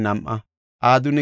Harifa yarati 112;